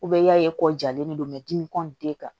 i y'a ye kɔ jalen no dimi kan